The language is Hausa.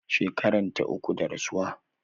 Shekaranta uku da rasuwa